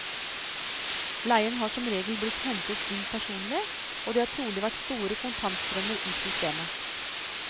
Leien har som regel blitt hentet inn personlig, og det har trolig vært store kontantstrømmer i systemet.